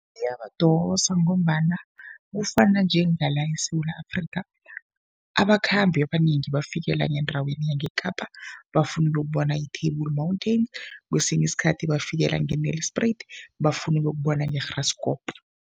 Iyabadosa ngombana kufana njengala eSewula Afrika, abakhambi abanengi bafikela ngendaweni yangeKapa, bafuna ukuyokubona i-Table Mountain. Kwesinye isikhathi bafikela nge-Nelspruit bafuna ukuyokubona i-Graskop.